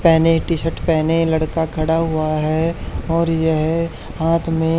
पेहने टी_शर्ट पेहने लड़का खड़ा हुआ है और यह हाथ में--